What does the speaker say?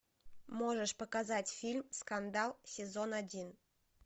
можешь показать фильм скандал сезон один